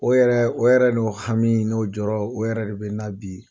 O yɛrɛ o yɛrɛ n'o hami n'o jɔrɔ o yɛrɛ de bɛ n na bi.